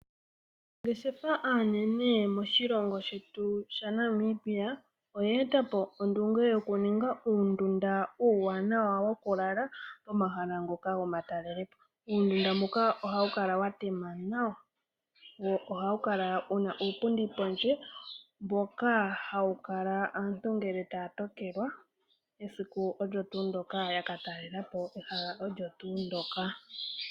Aanangeshefa aanene moshilongo shetu sha Namibia oye etapo ondunge yokuninga uundunda uuwanawa wokulala momahala ngoka gomatalelepo. uundunda mbuka ohawukala watema nawa mboka hawu kala wuna uupundi pondje hawukala aantu ngele taya tokelwa esiku olyo tuu ndoka ya ka talelapo ehala olyo tuu ndoka.